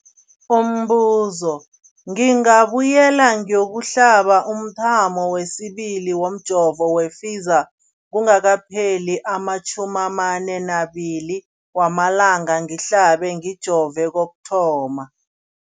Umbuzo, ngingabuyela ngiyokuhlaba umthamo wesibili womjovo we-Pfizer kungakapheli ama-42 wamalanga ngihlabe, ngijove kokuthoma.